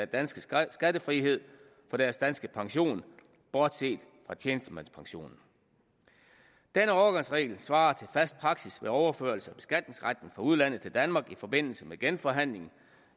danske skattefrihed for deres danske pensioner bortset fra tjenestemandspensioner den overgangsregel svarer til fast praksis ved overførsel af beskatningsretten fra udlandet til danmark i forbindelse med genforhandling